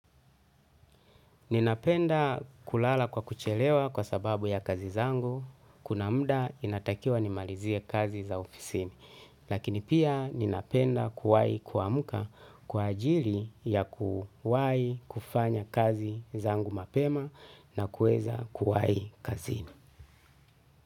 Ninapenda kulala kwa kuchelewa kwa sababu ya kazi zangu, kuna muda inatakiwa ni malizie kazi za ofisini. Lakini pia ninapenda kuwahi kuamka kwa ajili ya kuwahi kufanya kazi zangu mapema na kuweza kuwahi kazini.